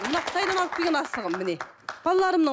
мынау қытайдан алып келген асығым міне балаларымның